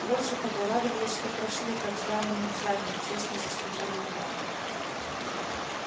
больше того радовались что прошли как сданному экзамену честно заслужили угар